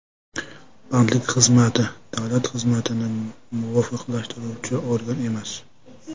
Bandlik xizmati davlat xizmatini muvofiqlashtiruvchi organ emas.